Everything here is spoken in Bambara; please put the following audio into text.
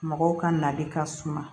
Mɔgɔw ka nali ka suma